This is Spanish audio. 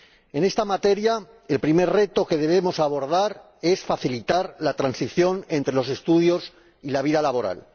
En esta materia, el primer reto que debemos abordar es facilitar la transición entre los estudios y la vida laboral.